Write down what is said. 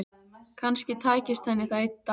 Kannski tækist henni það einn daginn.